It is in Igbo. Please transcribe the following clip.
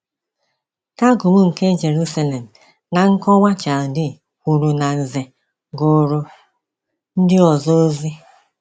Targum nke Jerusalem na nkọwa Chaldee kwuru na Nze ‘gụrụ ndị ọzọ ozi.’